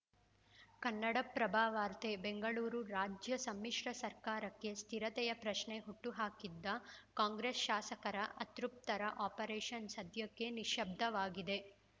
ಕನ್ನಡಪ್ರಭ ವಾರ್ತೆ ಬೆಂಗಳೂರು ರಾಜ್ಯ ಸಮ್ಮಿಶ್ರ ಸರ್ಕಾರಕ್ಕೆ ಸ್ಥಿರತೆಯ ಪ್ರಶ್ನೆ ಹುಟ್ಟುಹಾಕಿದ್ದ ಕಾಂಗ್ರೆಸ್‌ ಶಾಸಕರ ಅತೃಪ್ತರ ಆಪರೇಷನ್‌ ಸದ್ಯಕ್ಕೆ ನಿಶ್ಶಬ್ದವಾಗಿದೆ